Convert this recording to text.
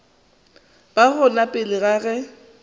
ba gona pele ga ge